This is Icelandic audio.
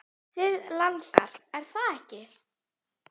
Þig langar, er það ekki?